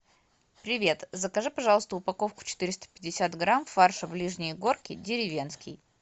привет закажи пожалуйста упаковку четыреста пятьдесят грамм фарша ближние горки деревенский